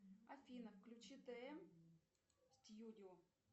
афина включи тм студио